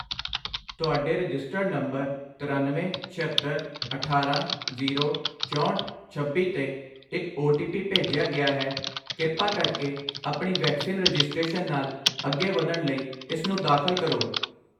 ਤੁਹਾਡੇ registered number ਤਰੱਨਵੇਂ, ਛਿਅੱਤਰ, ਅਠਾਰਾਂ, ਜ਼ੀਰੋ, ਚੌਂਹਠ, ਛੱਬੀ 'ਤੇ ਇੱਕ ਓ ਟੀ ਪੀ ਭੇਜਿਆ ਗਿਆ ਹੈ, ਕਿਰਪਾ ਕਰਕੇ ਆਪਣੀ ਵੈਕਸੀਨ ਰਜਿਸਟ੍ਰੇਸ਼ਨ ਨਾਲ ਅੱਗੇ ਵਧਣ ਲਈ ਇਸਨੂੰ ਦਾਖਲ ਕਰੋ